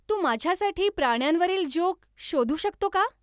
तू माझ्यासाठी प्राण्यांवरील जोक शोधू शकतो का